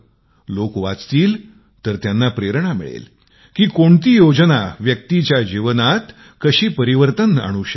लोक वाचतील तर त्यांना प्रेरणा मिळेल की कोणती योजना व्यक्तीच्या जीवनात कसे परिवर्तन आणू शकते